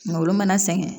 Olu mana sɛgɛn